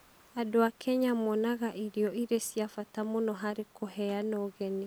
Andũ a Kenya monaga irio irĩ cia bata mũno harĩ kũheana ũgeni.